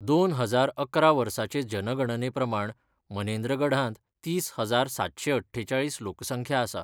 दोन हजार अकरा वर्साचे जनगणने प्रमाण मनेन्द्रगढांत तीस हजार सातशें अठ्ठेचाळीस लोकसंख्या आसा.